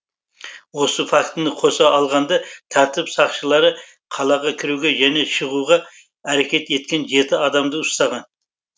осы фактіні қоса алғанда тәртіп сақшылары қалаға кіруге және шығуға әрекет еткен жеті адамды ұстаған